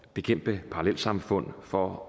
bekæmpe parallelsamfund for